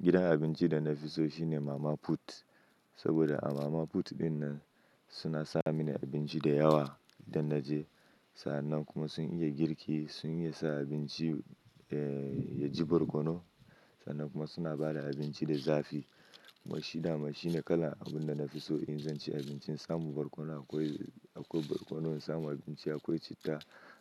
Gidan abinci da na fi so shine Mama Put. Saboda a Mama Put dinnan suna sami ni abinci da yawa idan naje, sannan kuma sun iya girki, sun iya sa abinci ya ji barkono. Sannan kuma suna bada abinci da zafi. Kuma shi dama shine kalan abun da na fi so in zan ci abinci. Na samu barkono akwai, akwai barkono, na samu abinci akwai citta,